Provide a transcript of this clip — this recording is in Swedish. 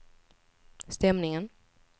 stämningen